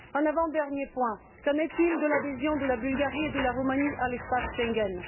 Avant dernier point qu'en est il de l'adhésion de la Bulgarie et de la Roumanie à l'espace Schengen?